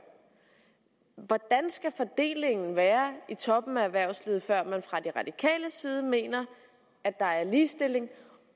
hvordan skal fordelingen være i toppen af erhvervslivet før man fra de radikales side mener at der er ligestilling